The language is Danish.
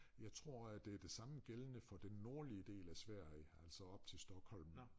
Jeg tror at det det samme gældende for den nordlige del af Sverige altså op til Stockholm